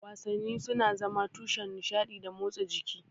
Wasanni suna zama tushen nishaɗi da motsa jiki.